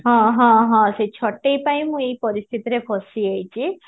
ହଁ ହଁ ହଁ ସେ ଛଟେଇ ପାଇଁ ମୁଁ ଏଇ ପରିସ୍ଥିତି ରେ ଫସି ଯାଇଛି